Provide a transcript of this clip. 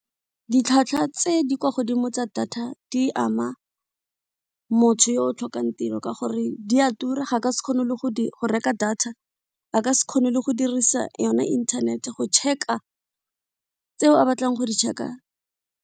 Ditlhwatlhwa tse di kwa godimo tsa data di ama motho yo o tlhokang tiro ka gore di a tura ga ka se kgone le go reka data, a ka se kgone le go dirisa yona internet-e go check-a tseo a batlang go di check-a.